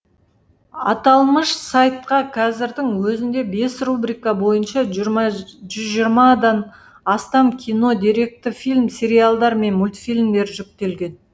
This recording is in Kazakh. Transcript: аталмыш сайтқа қазірдің өзінде бес рубрика бойынша жүз жиырмадан астам кино деректі фильм сериалдар мен мультфильмдер жүктелген